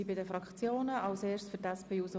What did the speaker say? Die Fraktionen haben das Wort.